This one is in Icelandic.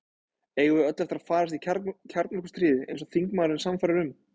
Eigum við öll eftir að farast í kjarnorkustríði, eins og þingmaðurinn er sannfærður um?